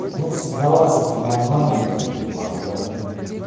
ну если для вас это нормально то базара нет